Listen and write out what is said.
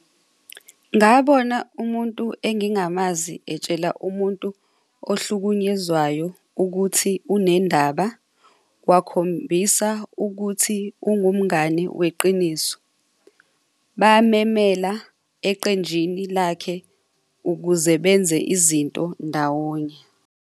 Ngabona umuntu engingamazi etshela umuntu ohlukunyezwayo ukuthi unendaba, wakhombisa ukuthi ungumngani weqiniso. Bamemela eqenjini lakhe ukuze benze izinto ndawonye.